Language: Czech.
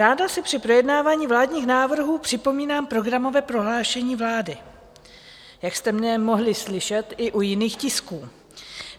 Ráda si při projednávání vládního návrhu připomínám programové prohlášení vlády, jak jste mě mohli slyšet i u jiných tisků.